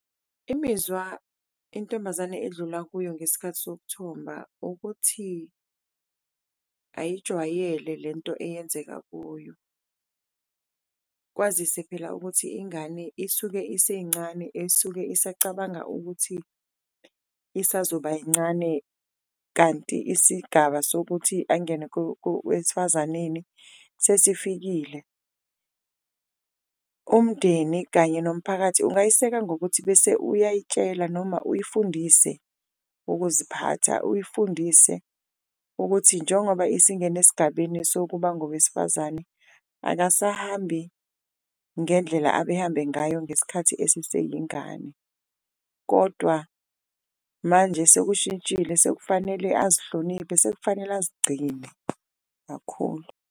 Imizwa intombazane edlula kuyo ngesikhathi sokuthomba ukuthi ayijwayele lento eyenzeka kuyo, kwazise phela ukuthi ingane isuke isencane esuke isacabanga ukuthi isazoba yincane kanti isigaba sokuthi angene esifazaneni sesifikile. Umndeni kanye nomphakathi ungayiseka ngokuthi bese uyayitshela noma uyifundise ukuziphatha, uyifundise ukuthi njengoba isingene esigabeni sokuba ngowesifazane akasahambi ngendlela abehambe ngayo ngesikhathi esise yingane. Kodwa manje sekushintshile sekufanele azihloniphe, sekufanele azigcine kakhulu.